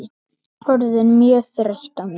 Orðin mjög þreytt á mér.